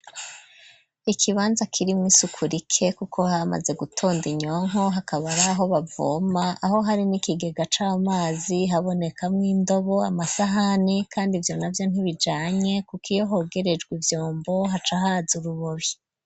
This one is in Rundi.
Ikibanza kiri mu isukurike kuko hamaze gutonda inyonko hakaba riaho bavoma aho hari n'ikigega c'amazi haboneka mu'indobo amasahani kandi ivyo navyo ntibijanye kuko iyo hogerejwe ivyombo haca hazi urubabi.